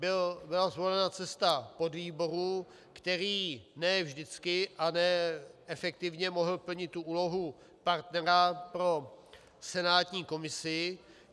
Byla zvolena cesta podvýboru, který ne vždycky a ne efektivně mohl plnit úlohu partnera pro senátní komisi.